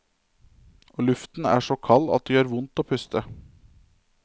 Og luften er så kald at det gjør vondt å puste.